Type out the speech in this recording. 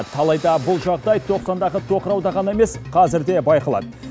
алайда бұл жағдай тоқсандағы тоқырауда ғана емес қазір де байқалады